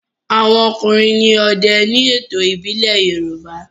àwọn ọkùnrin ní òde ní ètò ìbílè yoruba